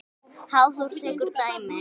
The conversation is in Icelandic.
Hafþór tekur dæmi.